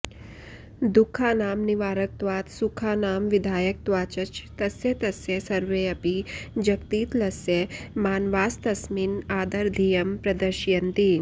दुःखानां निवारकत्वात् सुखानां विधायकत्वाच्च तस्य तस्य सर्वेऽपि जगतीतलस्य मानवास्तस्मिन् अादरधियं प्रदर्शयन्ति